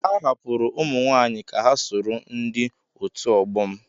A hapụrụ ụmụ nwaanyị ka ha soro ndị otu ọgbọ m.